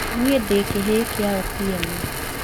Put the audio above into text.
Niĩ ndĩ kĩhĩĩ kĩa Otieno